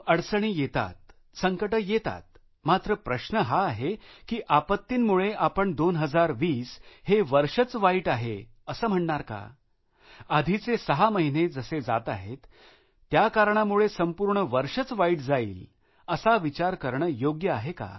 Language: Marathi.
अडचणी येतात संकटे येतात मात्र प्रश्न हा आहे की आपत्तींमुळे आपण 2020 हे वर्षच वाईट आहे असं म्हणणार का आधीचे सहा महिने जसे जाताहेत त्या कारणामुळे संपूर्ण वर्षच वाईट जाईल असा विचार करणं योग्य आहे का